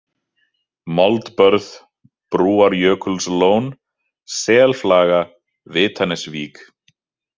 Moldbörð, Brúarjökulslón, Selflaga, Vitanesvík